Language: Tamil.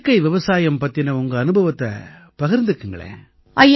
இயற்கை விவசாயம் பத்தின உங்க அனுபவத்தைப் பகிர்ந்துக்களேன்